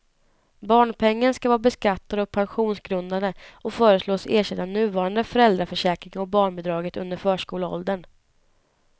Barnpengen skall vara beskattad och pensionsgrundande och föreslås ersätta nuvarande föräldraförsäkring och barnbidraget under förskoleåldern.